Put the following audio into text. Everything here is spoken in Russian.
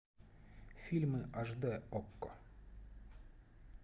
фильмы аш дэ окко